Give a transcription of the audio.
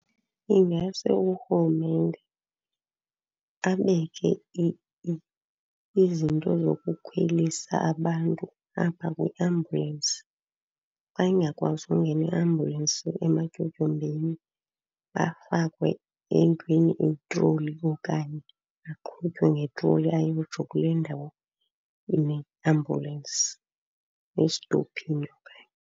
Ingase urhulumente abeke izinto zokukhwelisa abantu apha kwiambulensi. Xa ingakwazi ukungena iambulensi ematyotyombeni, afakwe entweni eyitroli okanye aqhutywe ngetroli ayotsho kule ndawo ime iambulensi, estophini okanye.